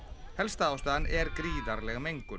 helsta ástæðan er gríðarleg mengun